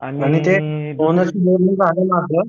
आणि ते बोनसआपल